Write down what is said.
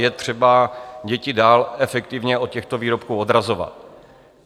Je třeba děti dál efektivně od těchto výrobků odrazovat.